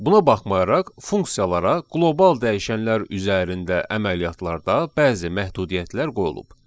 Buna baxmayaraq funksiyalara qlobal dəyişənlər üzərində əməliyyatlarda bəzi məhdudiyyətlər qoyulub.